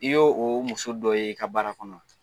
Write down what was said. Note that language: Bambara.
I y'o o muso dɔ ye i ka baara kɔnɔ wa